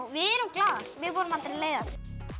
við erum glaðar við vorum aldrei leiðar